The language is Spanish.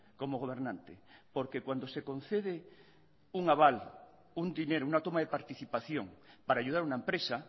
como gobernante porque cuando se concede un aval un dinero una toma de participación para ayudar a una empresa